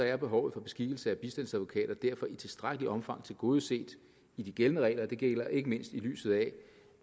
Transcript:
er behovet for beskikkelse af bistandsadvokater derfor i tilstrækkeligt omfang tilgodeset i de gældende regler og det gælder ikke mindst i lyset af at